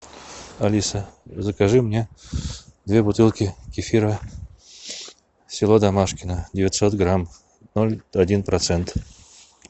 алиса закажи мне две бутылки кефира село домашкино девятьсот грамм ноль один процент